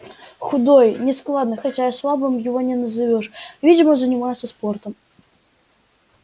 худой нескладный хотя и слабым его не назовёшь видимо занимается спортом